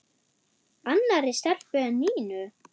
Annarri stelpu en Nínu?